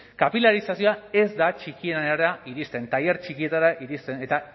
kapilarizazioa ez da txikienera iristen tailer txikietara iristen eta